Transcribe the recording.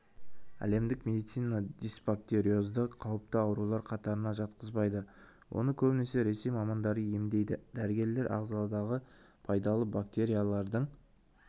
әлемдік медицина дисбактериозды қауіпті аурулар қатарына жатқызбайды оны көбінесе ресей мамандары емдейді дәрігерлер ағзадағы пайдалы бактериялардың